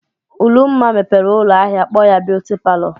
Ụlụmma mepere ụlọ ahịa kpọọ ya "Beauty Parlor".